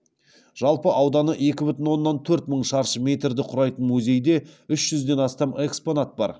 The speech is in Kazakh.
жалпы ауданы екі бүтін оннан төрт мың шаршы метрді құрайтын музейде үш жүзден астам экспонат бар